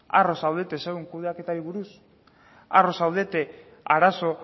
harro zaudete zuen kudeaketari buruz harro zaudete arazo